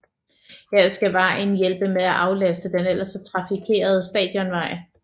Her skal vejen hjælpe med at aflaste den ellers så trafikerende Stadionvej